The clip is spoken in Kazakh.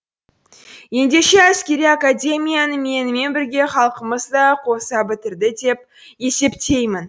ендеше әскери академияны менімен бірге халқымыз да қоса бітірді деп есептеймін